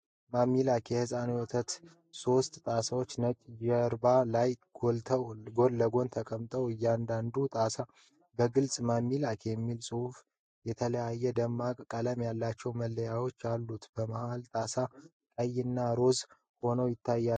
የMAMILAC ሕፃን ቀመር ወተት ሶስት ጣሳዎች ነጭ ጀርባ ላይ ጎን ለጎን ተቀምጠዋል። እያንዳንዱ ጣሳ በግልጽ "MAMILAC" የሚል ጽሑፍና የተለያየ ደማቅ ቀለም ያላቸው መለያዎች አሉት። መሃለኛው ጣሳ ቀይና ሮዝ ሆኖ ይታያል።